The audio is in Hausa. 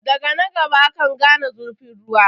Daga na gaba akan gane zurfin ruwa.